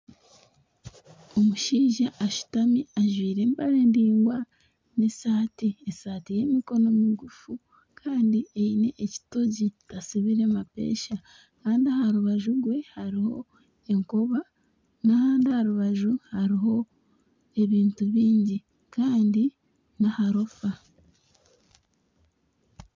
Omushaija ashutami ajwaire empare ndaingwa n'esaati, esaati y'emikono migufu. Kandi eine ekitogi tasibire mapesha, kandi aha rubaju rwe hariho enkoba n'ahandi aha rubaju hariho ebintu bingi kandi n'aharofa.